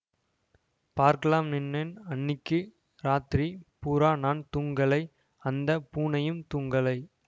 பார்க்கலாம்ன்னேன் அன்னிக்கு ராத்திரி பூரா நான் தூங்கலை அந்த பூனையும் தூங்கலை